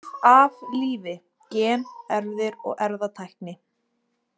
Líf af lífi: Gen, erfðir og erfðatækni.